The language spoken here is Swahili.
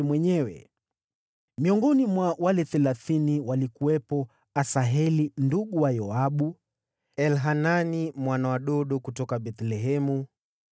Miongoni mwa wale Thelathini walikuwepo: Asaheli ndugu wa Yoabu; Elhanani mwana wa Dodo kutoka Bethlehemu;